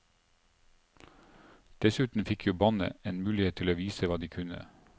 Dessuten fikk jo bandet en mulighet til å vise hva de kunne.